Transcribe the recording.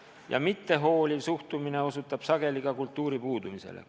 Ja mittehooliv suhtumine osutab sageli ka kultuuri puudumisele.